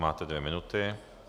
Máte dvě minuty.